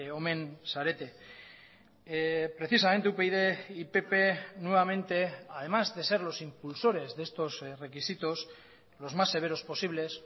omen zarete precisamente upyd y pp nuevamente además de ser los impulsores de estos requisitos los más severos posibles